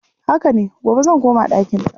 Haka ne, gobe zan koma ɗakinta.